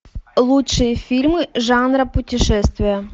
лучшие фильмы жанра путешествия